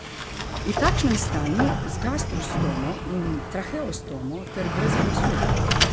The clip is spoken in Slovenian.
V takšnem stanju, z gastrostomo in traheostomo ter brez glasu.